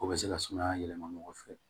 O bɛ se ka sumaya yɛlɛma mɔgɔ fɛ